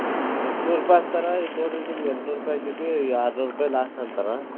ಎಂಟ್ನೂರ್ ಇನ್ನೂರ್ ರುಪೈ ಹಚ್ಚ್ತರಾ ಇನ್ನೂರ್ ನಿಮ್ಗೆ ಎಂಟ್ನೂರ್ ರುಪೈ ಹಚ್ಚಿತೀ ಆರ್ನೂರ್ ರುಪೈ last ಅಂತಾರ.